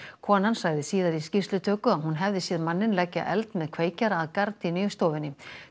konan sagði síðar í skýrslutöku að hún hefði séð manninn leggja eld með kveikjara að gardínu í stofunni